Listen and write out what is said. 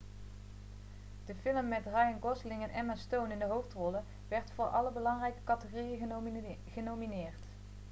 de film met ryan gosling en emma stone in de hoofdrollen werd voor alle belangrijke categorieën genomineerd